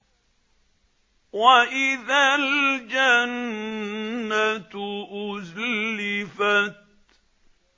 وَإِذَا الْجَنَّةُ أُزْلِفَتْ